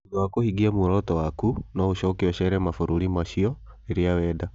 Thutha wa kũhingia muoroto waku, no ũcoke ucere mabũrũri macio. rĩrĩa wenda